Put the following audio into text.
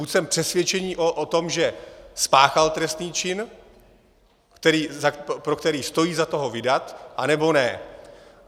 Buď jsem přesvědčen o tom, že spáchal trestný čin, pro který stojí za to ho vydat, anebo ne.